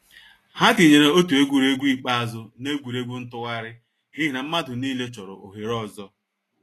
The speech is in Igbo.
Ha tinyeere otu egwuregwu ikpeazụ n’egwuregwu ntụgharị n’ihi na mmadụ niile chọrọ ohere ọzọ.